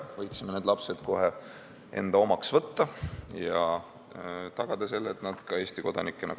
Võiksime need lapsed kohe enda omaks võtta ja tagada selle, et nad kasvavad üles Eesti kodanikena.